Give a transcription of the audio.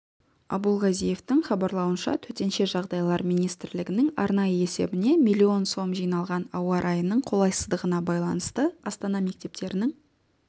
абулгазиевтың хабарлауынша төтенше жағдайлар министрлігінің арнайы есебіне миллион сом жиналған ауа райының қолайсыздығына байланысты астана мектептерінің